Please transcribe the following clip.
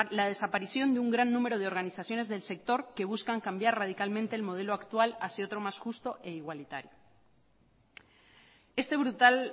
la desaparición de un gran número de organizaciones del sector que buscan cambiar radicalmente el modelo actual hacia otro más justo e igualitario este brutal